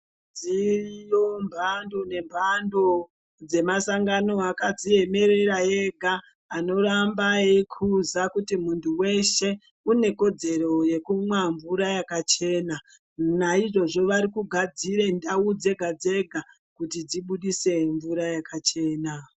Dziriyo mbhando nembhando dzemasangano akadziemerera ega anoramba eikuza kuti muntuweshe unekodzero yekumwa mvura yakachena, naizvozvo vari kugadzira ndau dzega dzega kuti dzibudise mvura yakachena.